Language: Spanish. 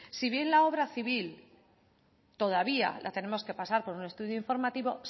si bien la obra civil todavía la tenemos que pasar por un estudio informativo